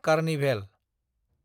carnival